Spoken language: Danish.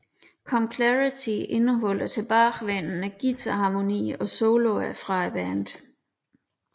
Come Clarity indeholder tilbagevendene guitarharmonier og soloer fra bandet